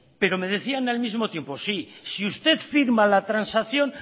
pero me decían al mismo tiempo sí si usted firma la transacción